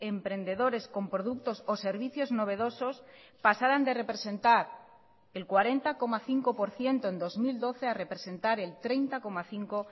emprendedores con productos o servicios novedosos pasaran de representar el cuarenta coma cinco por ciento en dos mil doce a representar el treinta coma cinco